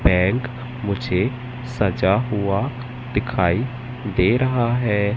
Bank मुझे सजा हुआ दिखाई दे रहा है।